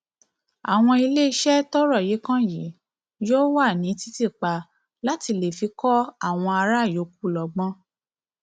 àwọn iléeṣẹ tọrọ yìí kan yìí yóò wà ní títì pa láti lè fi kọ àwọn ará yòókù lọgbọn